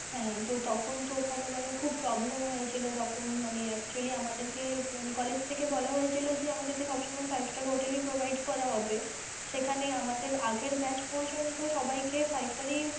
হ্যাঁ তো তখন তো ওখানে মানে খুব problem হয়েছিল তখন মানে actually আমাদের কে মানে college থেকে বলা হয়েছিল যে আমাদের কে সব সময়ে five star hotel ই provide করা হবে সেখানে আমাদের আগের batch পর্যন্ত সবাই কে five star এই মানে